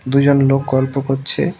দুইজন লোক গল্প করছে।